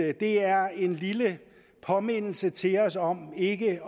at det er en lille påmindelse til os om ikke